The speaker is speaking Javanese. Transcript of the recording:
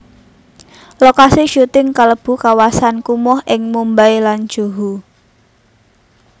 Lokasi syuting kalebu kawasan kumuh ing Mumbai lan Juhu